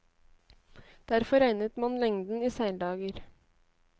Derfor regnet man lengden i seildager.